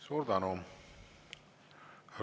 Suur tänu!